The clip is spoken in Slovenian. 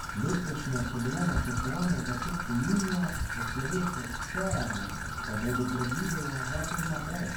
Letošnje so bile načrtovane v začetku junija, po slovesu Cerarja pa bodo predvidoma dva tedna prej.